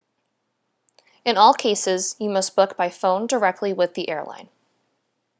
in all cases you must book by phone directly with the airline